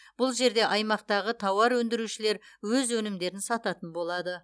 бұл жерде аймақтағы тауарөндірішулер өз өнімдерін сататын болады